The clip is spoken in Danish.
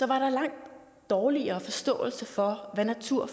var der langt dårligere forståelse for hvad natur